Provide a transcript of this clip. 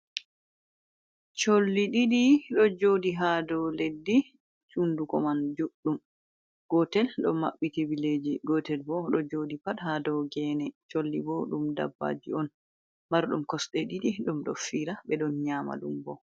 Solli diɗi ɗo joɗi ha dow leddi hunɗuko man juɗɗum gotel ɗo mabbiti billeji gotel ɓo ɗo joɗi pat ha dow gene solli ɓo ɗum dabbaji on marɗum kosɗe didi ɗum ɗo fira be don nyama ɗum ɓo.